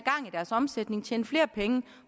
deres omsætning tjene flere penge